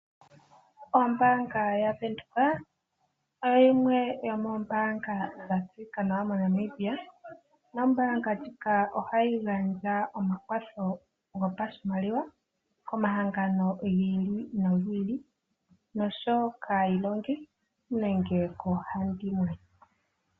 Ombaanga ya Windhoek oyo yimwe yomoombaanga ndhoka dha tseyika nawa moNamibia. Ombaanga ndjika ohayi gandja omakwatho gopashimaliwa komahangano gi ili nogi ili, kaayilongi nosho wo koohandimwe.